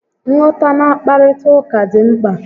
Nghọtana nkparịta ụka dị mkpa